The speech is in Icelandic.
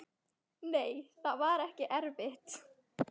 Nei, það var ekki erfitt.